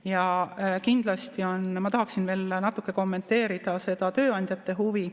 Ja kindlasti ma tahaksin veel natuke kommenteerida seda tööandjate huvi.